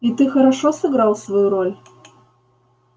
и ты хорошо сыграл свою роль